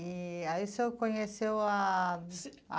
E aí o senhor conheceu a a